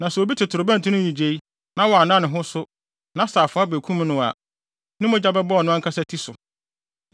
Na sɛ obi te torobɛnto no nnyigyei na wanna ne ho so, na sɛ afoa no bekum no a, ne mogya bɛbɔ ɔno ankasa ti so.